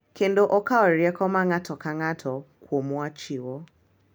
Kendo okawo rieko ma ng’ato ka ng’ato kuomwa chiwo,